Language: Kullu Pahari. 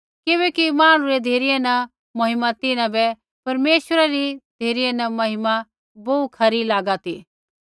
किबैकि मांहणु री धिरै न महिमा तिन्हां बै परमेश्वरै री धिरै न महिमा बोहू खरी लागा ती